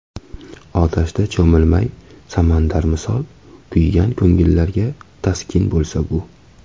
Otashda cho‘milay samandar misol, Kuygan ko‘ngillarga taskin bo‘lsa bu.